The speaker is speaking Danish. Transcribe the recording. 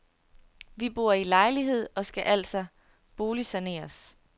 Vi bor i lejelejlighed og skal altså boligsaneres.